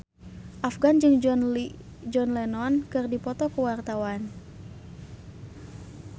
Afgan jeung John Lennon keur dipoto ku wartawan